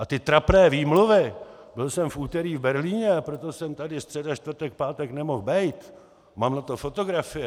A ty trapné výmluvy - byl jsem v úterý v Berlíně, proto jsem tady středa, čtvrtek, pátek nemoh bejt, mám na to fotografie...